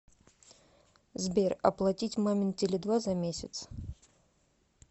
сбер оплатить мамин теле два за месяц